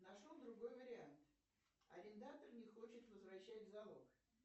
нашел другой вариант арендатор не хочет возвращать залог